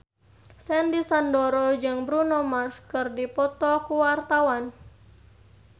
Sandy Sandoro jeung Bruno Mars keur dipoto ku wartawan